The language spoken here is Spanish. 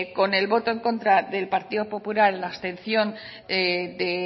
con el voto en contra del partido popular y la abstención de